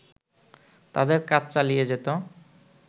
তাদের কাজ চালিয়ে যেত